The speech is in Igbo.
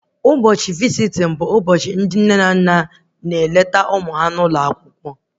Ụbọchị visitin bụ ụbọchị ndị nne na nna na-eneta ụmụ ha n'ụlọ akwụkwọ